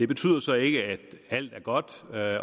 betyder så ikke at alt er godt